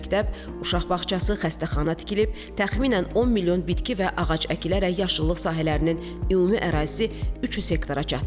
Məktəb, uşaq bağçası, xəstəxana tikilib, təxminən 10 milyon bitki və ağac əkilərək yaşıllıq sahələrinin ümumi ərazisi 300 hektara çatdırılıb.